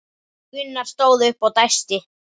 Gunnar stóð upp og dæsti.